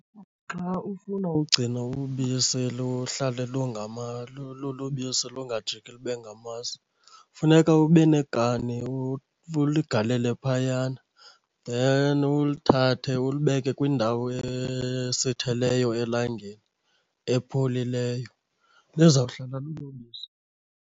Xa ufuna ugcina ubisi luhlale lulubisi lungajiki lube ngamasi, funeka ube nekani uligalele phayana, then ulithathe ulibeke kwindawo esitheleyo elangeni, epholileyo. Lizawuhlala lulubisi.